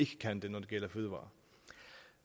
kan det når det gælder fødevarer